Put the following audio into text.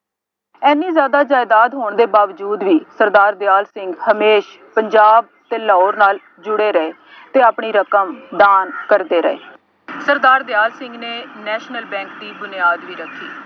ਐਨੀ ਜ਼ਿਆਦਾ ਜਾਇਦਾਦ ਹੋਣ ਦੇ ਬਾਵਜੂਦ ਵੀ ਸਰਦਾਰ ਦਿਆਲ ਸਿੰਘ ਹਮੇਸ਼ ਪੰਜਾਬ ਅਤੇ ਲਾਹੌਰ ਨਾਲ ਜੁੜੇ ਰਹੇ ਅਤੇ ਆਪਣੀ ਰਕਮ ਦਾਨ ਕਰਦੇ ਰਹੇ। ਸਰਦਾਰ ਦਿਆਲ ਸਿੰਘ ਨੇ ਨੈਸ਼ਨਲ ਬੈਂਕ ਦੀ ਬੁਨਿਆਦ ਵੀ ਰੱਖੀ।